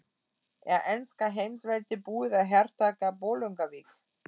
Er enska heimsveldið búið að hertaka Bolungarvík?